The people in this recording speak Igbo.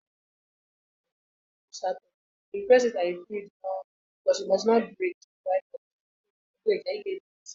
Onye ọrụ ọkụ na-ewepu bọọbụ mebiri emebi n’ụlọ mana na-etinye ndị ọhụrụ.